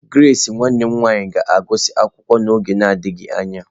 Grace nwanne m nwanyị ga-agụsị akwụkwọ n'oge adịghị anya.